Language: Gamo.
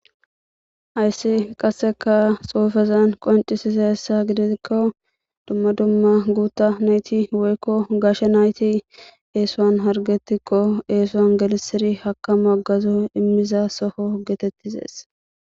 Ayssi qasseka xuufezan qoncisize hessa gidesikko dumma dumma guutta nayti woykko gashshe nayti eesuan hargetikko eesuan galisiri haka magazo immiza soho geetettizees.